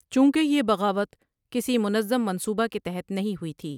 چونکہ یہ بغاوت کسی منظم منصوبہ کے تخت نہیں ہوئی تھی۔